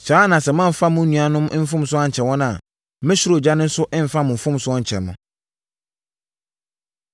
“Saa ara na sɛ moamfa mo nuanom mfomsoɔ ankyɛ wɔn a, me ɔsoro Agya nso remfa mo mfomsoɔ nkyɛ mo.”